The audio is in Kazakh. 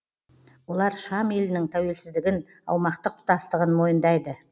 олар шам елінің тәуелсіздігін аумақтық тұтастығын мойындайды